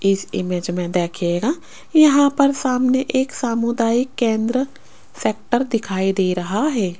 इस इमेज मे देखियेगा यहां पर सामने एक सामुदायिक केंद्र शटर दिखाई दे रहा है।